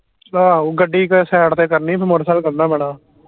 ਆਹੋ ਗੱਡੀ ਕੇ side ਤੇ ਕਰਨੀ ਫਿਰ ਮੋਟਰਸਾਈਕਲ ਕਢਣਾ ਮਾੜਾ